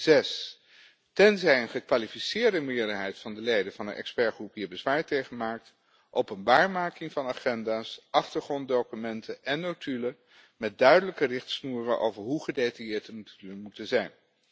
Zes tenzij een gekwalificeerde meerderheid van de leden van de expertgroep hier bezwaar tegen maakt, openbaarmaking van agenda's, achtergronddocumenten en notulen met duidelijke richtsnoeren over hoe gedetailleerd we moeten zijn.